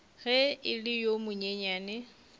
ge e le yo monyenyane